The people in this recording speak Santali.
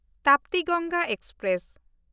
ᱛᱟᱯᱛᱤ ᱜᱚᱝᱜᱟ ᱮᱠᱥᱯᱨᱮᱥ